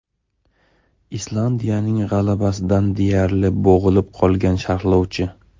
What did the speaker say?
Islandiyaning g‘alabasidan deyarli bo‘g‘ilib qolgan sharhlovchi.